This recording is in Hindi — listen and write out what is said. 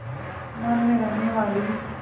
आसमान में रहने वाली